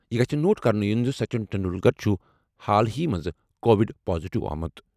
یہِ گژھہِ نوٹ کرُنہٕ یُن زِ سچن ٹنڈولکر چھُ حالٕے منٛز کووڈ پازیٹیو آمُت۔